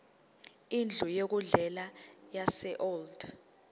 indlu yokudlela yaseold